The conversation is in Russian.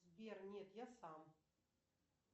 сбер нет я сам